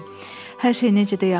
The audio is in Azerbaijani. Hər şey necə də yaxşı oldu.